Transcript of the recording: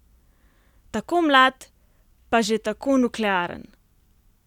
Tako mlad, pa že tako nuklearen!